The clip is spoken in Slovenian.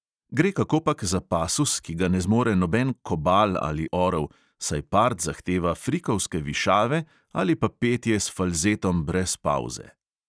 Gre kakopak za pasus, ki ga ne zmore noben kobal ali orel, saj part zahteva frikovske višave ali pa petje s falzetom brez pavze.